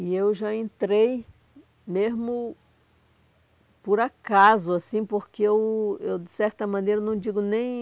E eu já entrei mesmo por acaso, assim, porque eu, eu de certa maneira, não digo nem